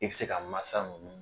I bi se ka masa nunnu